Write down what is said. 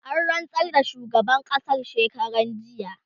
an rantsar da shugaban ƙasan shekaran jiya